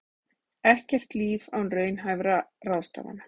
Ekkert líf án raunhæfra ráðstafana